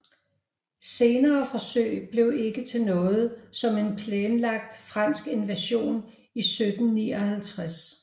Senere forsøg blev ikke til noget som en planlagt fransk invasion i 1759